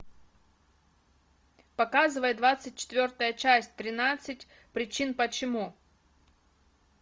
показывай двадцать четвертая часть тринадцать причин почему